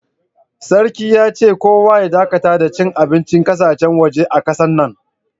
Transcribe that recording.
Sarki ya ce, kowa ya dakatar da cin abincin ƙasashen, waje a kasan nan.